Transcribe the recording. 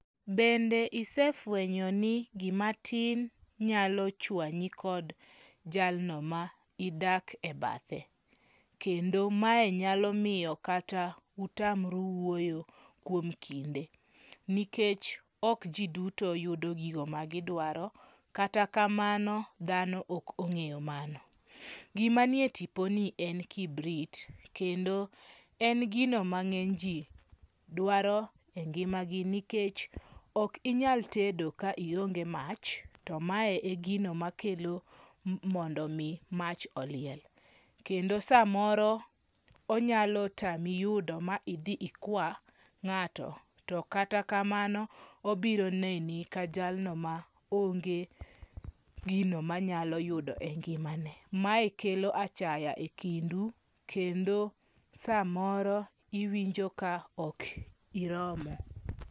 Bende isefwenyo ni gimatin nyalo chwanyi kod jalno ma idak e bathe? Kendo mae nyalo miyo kata utamru wuoyo kuom kinde, nikech ok ji duto yudo gigo magidwaro. Kata kamano dhano ok ong'eyo mano. Gima ni e tiponi en kibrit, kendo en gino ma ng'enyji dwaro e ngimagi nikech ok inyal tedo ka ionge mach to mae e gino makelo mondo mi mach oliel. Kendo samoro onyalo tami yudo ma idhi ikwa ng'ato, to kata kamano obiro neni ka jalno ma onge gino manyalo yudo e ngimane. Mae kelo achaya e kindu, kendo samoro iwinjo ka ok iromo.